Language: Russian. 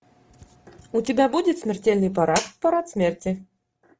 у тебя будет смертельный парад парад смерти